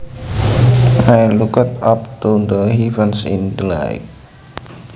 I looked up to the heavens in delight